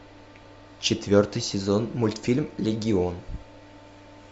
четвертый сезон мультфильм легион